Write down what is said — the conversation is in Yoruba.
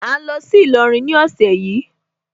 À ń lọ sí Ìlọrin ní ọ̀sẹ̀ yìí.